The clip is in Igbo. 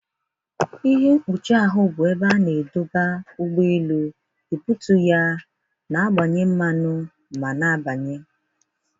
Ihe mkpuchi ahụ bụ ebe a na-adọba ụgbọ elu, ebutu ya, na-agbanye mmanụ ma na-abanye.